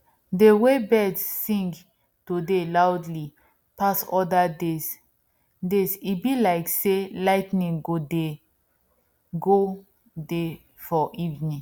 dey wey birds sing todayloud pass other days days e be like sey lighting go dey go dey for evening